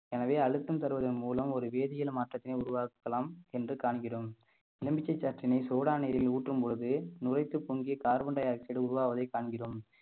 எனவே அழுத்தம் தருவதன் மூலம் ஒரு வேதியியல் மாற்றத்தினை உருவாக்கலாம் என்று காண்கிறோம் எலுமிச்சை சாற்றினை சோடா நீரில் ஊற்றும் பொழுது நுரைத்துப் பொங்கி carbon dioxide உருவாவதைக் காண்கிறோம்